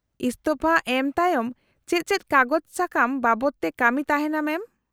-ᱤᱥᱛᱷᱚᱯᱷᱟ ᱮᱢ ᱛᱟᱭᱚᱢ ᱪᱮᱫ ᱪᱮᱫ ᱠᱟᱜᱚᱡᱽ ᱥᱟᱠᱟᱢ ᱵᱟᱵᱚᱫ ᱛᱮ ᱠᱟᱹᱢᱤ ᱛᱟᱦᱮᱱᱟ ᱢᱮᱢ ?